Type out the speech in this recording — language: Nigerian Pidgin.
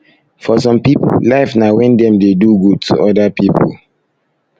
for some pipo life na when dem dey do good to oda pipo